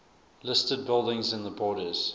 listed buildings in the borders